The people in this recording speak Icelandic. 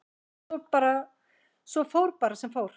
Svo fór bara sem fór.